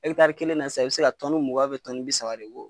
Ɛkitaari kelen na sisan i bɛ se ka mugan bi saba de bɔ.